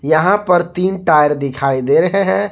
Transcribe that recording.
यहां पर तीन टायर दिखाई दे रहे हैं।